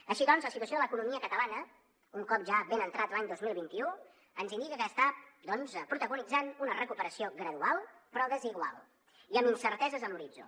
així doncs la situació de l’economia catalana un cop ja ben entrat l’any dos mil vint u ens indica que està doncs protagonitzant una recuperació gradual però desigual i amb incerteses a l’horitzó